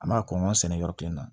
An b'a kɔn kɔn sɛnɛ yɔrɔ kelen na